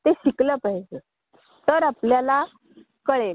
पण त्यांनी बीएससी कशामध्ये केलं?